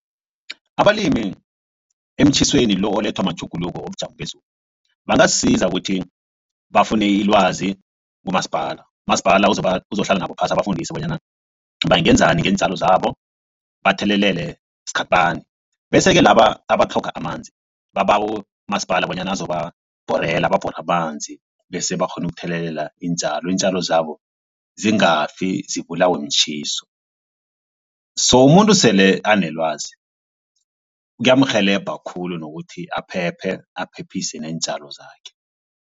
Abalimi emtjhisweni lo olethwa matjhuguluko wobujamo bezulu. Bangazisiza ukuthi bafune ilwazi kumasipala umasipala uzohlala nabo phasi abafundise bonyana bangenzani ngeentjalo zabo bathelelele sikhathi bani. Bese-ke laba abatlhoga amanzi babawe umasipala bonyana azoba bhorela babhore amanzi bese-ke bakghone ukuthelelela iintjalo iintjalo zabo zingafi zibulawe mtjhiso. So umuntu sele anelwazi kiyamrhelebha khulu nokuthi aphephe aphephise neentjalo zakhe.